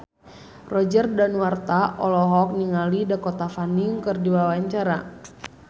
Roger Danuarta olohok ningali Dakota Fanning keur diwawancara